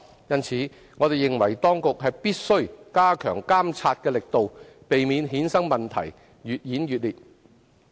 因此，我們認為當局必須加強監察的力度，避免衍生的問題越演越烈。